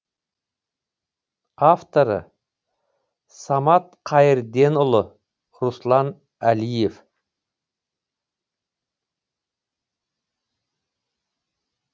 авторы самат қайырденұлы руслан әлиев